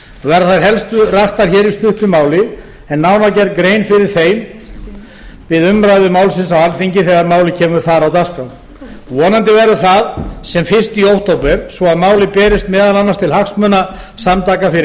verða þær helstu raktar hér í stuttu máli en nánar gerð grein fyrir þeim við umræðu málsins á alþingi þegar málið kemur þar á dagskrá vonandi verður það sem fyrst í október svo að málið berist meðal annars til hagsmunasamtaka fyrir